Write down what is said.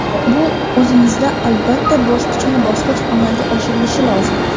Bu o‘zimizda albatta, bosqichma-bosqich amalga oshirilishi lozim.